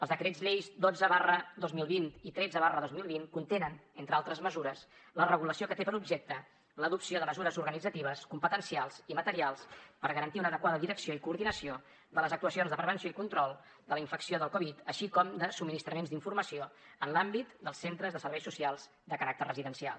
els decrets lleis dotze dos mil vint i tretze dos mil vint contenen entre d’altres mesures la regulació que té per objecte l’adopció de mesures organitzatives competencials i materials per garantir una adequada direcció i coordinació de les actuacions de prevenció i control de la infecció del covid així com de subministraments d’informació en l’àmbit dels centres de serveis socials de caràcter residencial